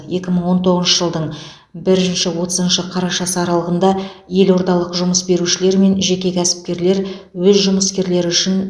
екі мың он тоғызыншы жылдың бірінші отызыншы қарашасы аралығында елордалық жұмыс берушілер мен жеке кәсіпкерлер өз жұмыскерлері үшін